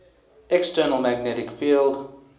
external magnetic field